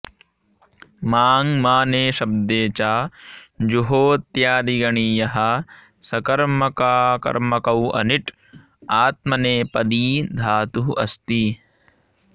माङ् माने शब्दे च जुहोत्यादिगणीयः सकर्मकाकर्मकौ अनिट् आत्मनेपदी धातुः अस्ति